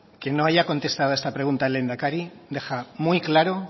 que no haya contestado a esta pregunta el lehendakari deja muy claro